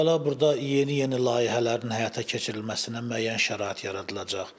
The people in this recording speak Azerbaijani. Əvvəla burda yeni-yeni layihələrin həyata keçirilməsinə müəyyən şərait yaradılacaq.